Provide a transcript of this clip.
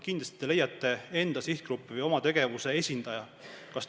Kindlasti te leiate enda sihtgrupi ja oma tegevuse esindaja.